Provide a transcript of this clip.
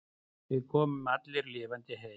Við komum allir lifandi heim.